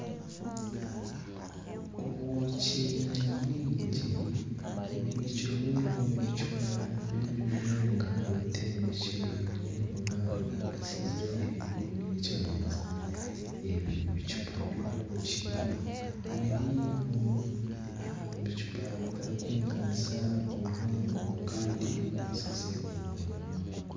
Obwoki bwingi bubikyirwe omu bicupa nyamwigi ebitembekyerereine oba ebikwatsize ahaiguru y'ekimeza ebi bicupa by'obwoki biri omu bicupa bitarikwinganisa obuhango kandi bikwasize omu mwanya gumwe